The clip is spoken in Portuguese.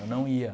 Eu não ia.